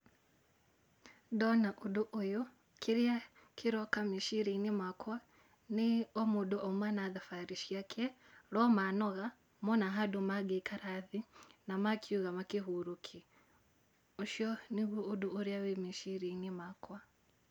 Ndona ũndũ ũyũ kĩrĩa kĩroka meciria-inĩ makwa nĩ o mũndũ auma na thabarĩ ciake no manoga mona handũ mangĩikara thĩ na makiuga makĩhurũke ũcio nĩguo ũndũ ũrĩa wĩ meciria-inĩ makwa.